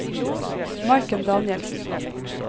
Maiken Danielsen